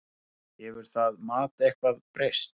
Hefur það mat eitthvað breyst?